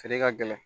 Feere ka gɛlɛn